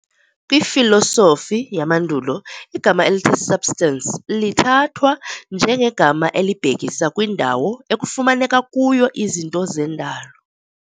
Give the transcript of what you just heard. KwiFilosofi yamandulo, igama elithi substance lithathwa njengegama elibhekisa kwindawo ekufumaneka kuyo izinto zendalo,